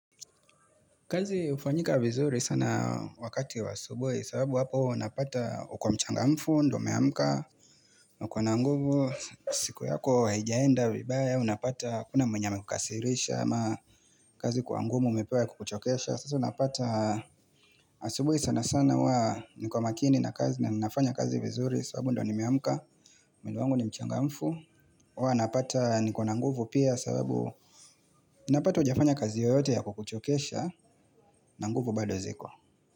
Kazi hufanyika vizuri sana wakati wa asubuhi sababu hapo unapata uko mchangamfu, ndio umeamka na uko na nguvu. Siku yako haijaenda vibaya, unapata hakuna mwenye amekukasirisha ama kazi kuwa ngumu umepewa ya kukuchokesha sasa unapata asubuhi sana sana huwa niko makini na kazi na ninafanya kazi vizuri sababu ndiyo nimeamka, mwili wangu ni mchangamfu. Huwa napata niko na nguvu pia sababu Unapata hujafanya kazi yoyote ya kukuchokesha na nguvu bado ziko.